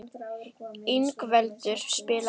Ingveldur, spilaðu lag.